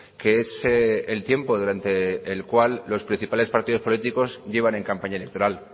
que es el tiempo durante el cual los principales partidos políticos llevan en campaña electoral